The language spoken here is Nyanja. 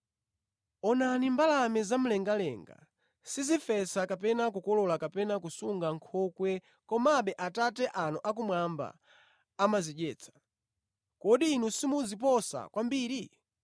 Onani mbalame zamlengalenga sizifesa kapena kukolola kapena kusunga mʼnkhokwe komabe Atate anu akumwamba amazidyetsa. Kodi inu simuziposa kwambiri?